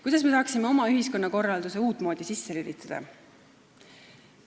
Kuidas me saaksime oma ühiskonnakorralduse uut moodi sisse lülitada?